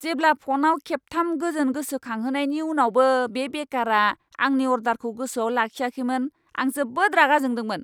जेब्ला फ'नआव खेबथाम गोजोन गोसोखांहोनायनि उनावबो बे बेकारआ आंनि अर्डारखौ गोसोआव लाखियाखैमोन, आं जोबोद रागा जोंदोंमोन!